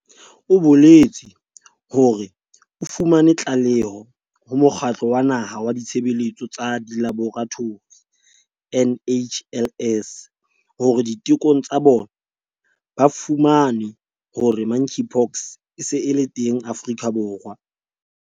O boletse hore o fumane tlaleho ho Mokgatlo wa Naha wa Ditshebeletso tsa Dilaboratori, NHLS, hore ditekong tsa bona ba fumane hore Monkeypox e se e le teng Afrika Borwa.